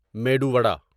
medu vada